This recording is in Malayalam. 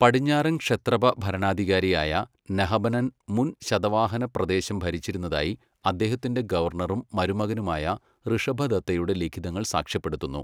പടിഞ്ഞാറൻ ക്ഷത്രപ ഭരണാധികാരിയായ നഹപനൻ മുൻ ശതവാഹന പ്രദേശം ഭരിച്ചിരുന്നതായി അദ്ദേഹത്തിന്റെ ഗവർണറും മരുമകനുമായ ഋഷഭദത്തയുടെ ലിഖിതങ്ങൾ സാക്ഷ്യപ്പെടുത്തുന്നു.